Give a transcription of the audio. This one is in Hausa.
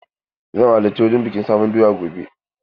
Zan halarci wurin bikin sabon doya gobe.